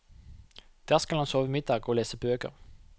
Der skal han sove middag og lese bøker.